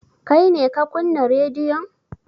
Kai ne ka kunna rediyon?